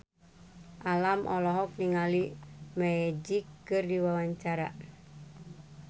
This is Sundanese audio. Alam olohok ningali Magic keur diwawancara